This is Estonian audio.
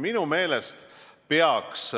Minu meelest peaks